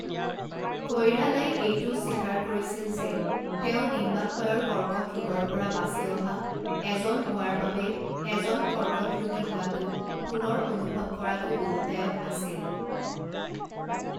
কৈৰালাই এইটোও স্বীকাৰ কৰিছিল যে তেওঁ ডিম্বাশয়ৰ কৰ্কট ৰোগৰ পৰা বাচি অহা এজন হোৱাৰ বাবে এজন কৰ্কট ৰোগী হোৱাটো পুনৰ অনুভৱ কৰাটো 'দুখঃদায়ক' আছিল।